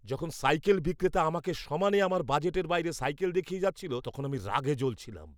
যখন সাইকেল বিক্রেতা আমাকে সমানে আমার বাজেটের বাইরে সাইকেল দেখিয়ে যাচ্ছিল, তখন আমি রাগে জ্বলছিলাম।